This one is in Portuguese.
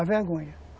A vergonha.